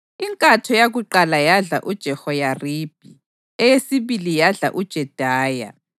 Inkatho yakuqala yadla uJehoyaribhi, eyesibili yadla uJedaya,